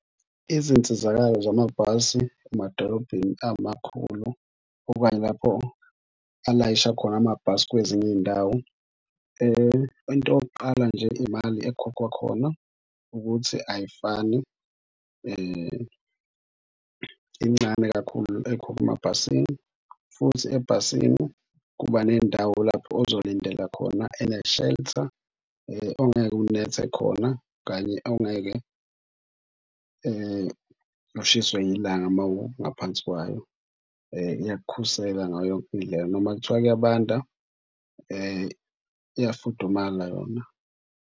Izinsizakalo zamabhasi emadolobheni amakhulu okanye lapho alayisha khona amabhasi kwezinye iy'ndawo into yokuqala nje iy'mali ekhokhwa khona ukuthi ayifani. Incane kakhulu ekhokhwa emabhasini futhi ebhasini kuba ney'ndawo lapho ozolindela khona ene-shelter ongeke unethe khona kanye ongeke ushiswe ilanga uma ungaphansi kwayo. Iyakukhusela ngayo yonke indlela noma kuthiwa kuyabanda uyafudumala yona.